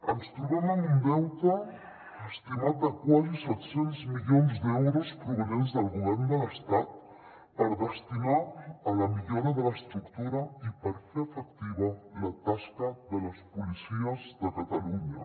ens trobem amb un deute estimat de quasi set cents milions d’euros provinents del govern de l’estat per destinar a la millora de l’estructura i per fer efectiva la tasca de les policies de catalunya